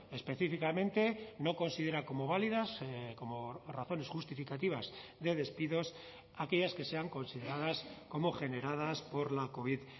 específicamente no considera como válidas como razones justificativas de despidos aquellas que sean consideradas como generadas por la covid